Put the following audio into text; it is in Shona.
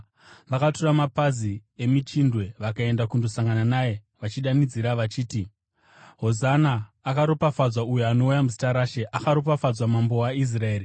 Vakatora mapazi emichindwe vakaenda kundosangana naye, vachidanidzira vachiti: “Hosana! “Akaropafadzwa uyo anouya muzita raShe! “Akaropafadzwa Mambo weIsraeri!”